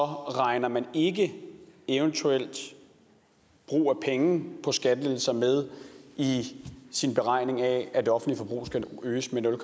regner man ikke et eventuelt brug af penge på skattelettelser med i sin beregning af at det offentlige forbrug skal øges med nul